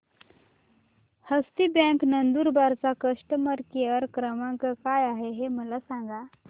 हस्ती bank Nandurbar चा customer care क्रमांक काय आहे हे मला सांगा